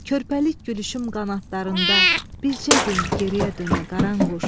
Körpəlik gülüşüm qanadlarında, bircə gün geriyə dönə, Qaranquş.